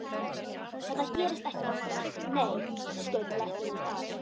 Þetta gerist ekki oftar, nei, skaut læknirinn að.